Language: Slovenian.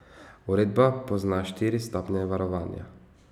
Uredba pozna štiri stopnje varovanja.